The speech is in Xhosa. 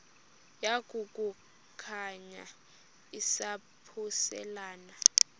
yaku khankanya izaphuselana